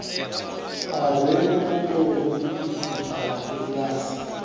a re maṱorokisi a kiḽasi